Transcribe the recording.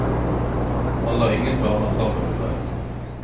Han la ingen planer sammen med meg.